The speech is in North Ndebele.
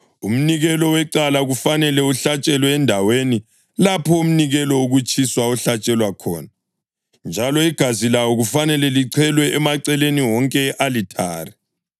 Umnikelo wecala kufanele uhlatshelwe endaweni lapho umnikelo wokutshiswa ohlatshelwa khona, njalo igazi lawo kufanele lichelwe emaceleni wonke e-alithare.